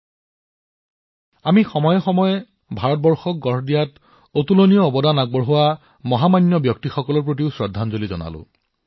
ইয়াৰ ভিতৰত আমি ভাৰত নিৰ্মাণত অতুল্য অৱদান দিয়া সকলৰ বিষয়ে জানিছো তেনে মহান ব্যক্তিত্বসকলক সময়েসময়ে শ্ৰদ্ধাঞ্জলি জনাইছো